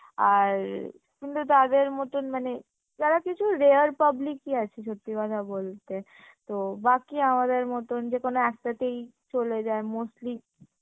আর কিন্তু তাদের মতন মানে তারা কিছু rare public ই আছে সত্যি কথা বলতে তো বাকি আমাদের মতন যেকোনো একটাতেই চলে যায় mostly